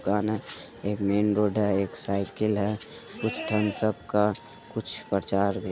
दुकान है एक मेनरोड है एक साइकिल है कुछ थमशप का कुछ प्रचार भी---